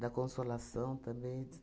da Consolação também.